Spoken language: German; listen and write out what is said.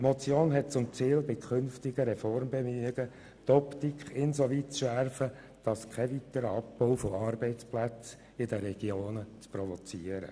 Die Motion hat zum Ziel, bei künftigen Reformbemühungen die Optik insoweit zu schärfen, dass kein weiterer Abbau von Arbeitsplätzen in den Regionen provoziert wird.